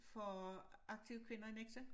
For aktive kvinder i Nexø